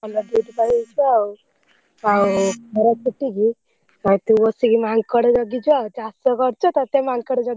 ଭଲ duty ପାଇଯାଇଛୁ ଆଉ ଆଉ ଖରାଛୁଟିକି ଆଉ ତୁ ବସିକି ମାଙ୍କଡ ଜଗିଛୁ ଆଉ ଚାଷ କରିଛ ତତେ ମାଙ୍କଡ ଜଗିବା